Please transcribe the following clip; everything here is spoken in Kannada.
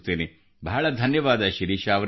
ಬಹಳ ಬಹಳ ಧನ್ಯವಾದ ಶಿರೀಷಾ ಅವರೆ